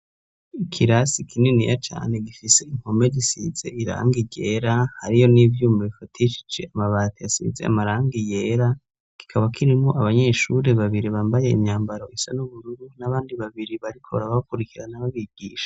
Ikirasi kinini ya cane gifise inkome zisize iranga irera hari yo n'ivyuma bifaticici amabati yasize amaranga iyera gikaba kirimo abanyeshuri babiri bambaye imyambaro isa n'ubururu n'abandi babiri bariko arabakurikirana babigisha.